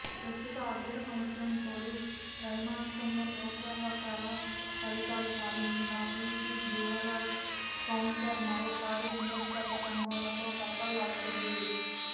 ప్రస్తుత ఆర్థిక సంవత్సరం తొలి త్రైమాసికంలో ప్రోత్సాహకర ఫలితాలు సాధించిన పీసీ జ్యువెలర్స్ కౌంటర్ మరోసారి ఇన్వెస్టర్ల కొనుగోళ్లతో కళకళలాడుతోంది